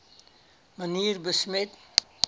manier besmet